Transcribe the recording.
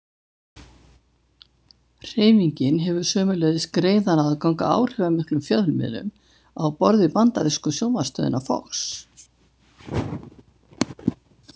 Hreyfingin hefur sömuleiðis greiðan aðgang að áhrifamiklum fjölmiðlum á borð við bandarísku sjónvarpsstöðina Fox.